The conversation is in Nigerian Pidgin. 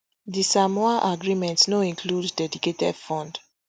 di samoa agreement no include dedicated fund